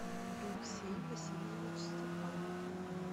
алексей васильевич степанов